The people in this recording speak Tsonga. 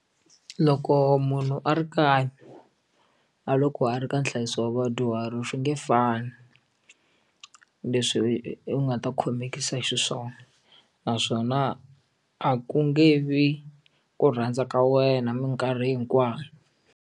Loko munhu a ri kaya na loko a ri ka nhlayiso wa vadyuhari swi nge fani leswi u nga ta khomekisa xiswona naswona a ku nge vi ku rhandza ka wena minkarhi hinkwayo.